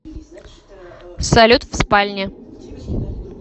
салют в спальне